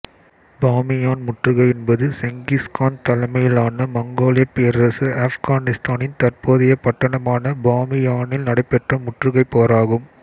பாமியான் முற்றுகை என்பது Genghis Khan தலைமையிலான மங்கோலியப் பேரரசு ஆப்கானித்தானின் தற்போதைய பட்டணமான பாமியானில் நடைபெற்ற முற்றுகைப் போராகும்